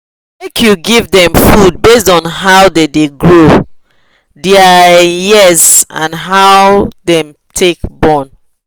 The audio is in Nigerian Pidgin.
make you give them food based on how the da grow their um years and how them take born